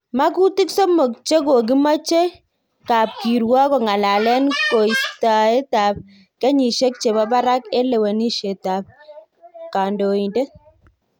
Makutik somok chekokimache kapkirwok kongalelen ko istaet ab kenyisiek chebo barak en lewenisiet ab kandoindet